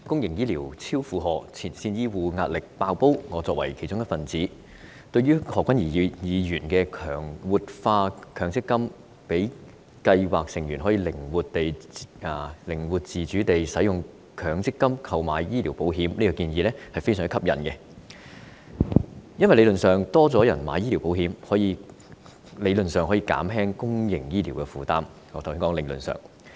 代理主席，公營醫療超負荷，前線醫護壓力"爆煲"，我作為其中一分子，對於何君堯議員提出活化強制性公積金計劃，讓計劃成員可以靈活自主地使用強積金購買醫療保障的建議，我認為是相當吸引的，因為如果較多人購買醫療保險，理論上便可以減輕公營醫療的負擔——我是說理論上。